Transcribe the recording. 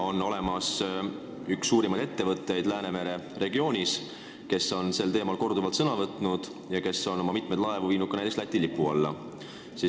Üks suurimaid selle valdkonna ettevõtteid Läänemere regioonis on sel teemal korduvalt sõna võtnud ja on mitmeid oma laevu viinud ka Läti lipu alla.